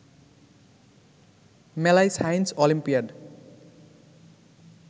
মেলায় science olympiad